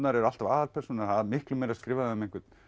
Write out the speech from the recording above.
eru alltaf aðalpersónurnar það er miklu meira skrifað um einhvern